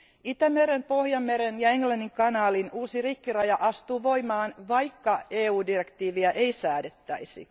Itämeren, Pohjanmeren ja Englannin kanaalin uusi rikkiraja astuu voimaan, vaikka EU direktiiviä ei säädettäisi.